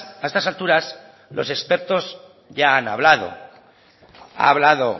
a estas alturas los expertos ya han hablado ha hablado